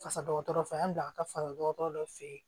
Fasa dɔgɔtɔrɔ fɛ an bila ka taa fara dɔgɔtɔrɔ dɔ fɛ yen